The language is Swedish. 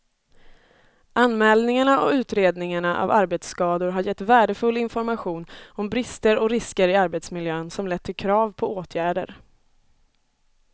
Anmälningarna och utredningarna av arbetsskador har gett värdefull information om brister och risker i arbetsmiljön som lett till krav på åtgärder.